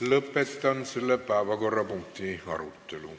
Lõpetan selle päevakorrapunkti arutelu.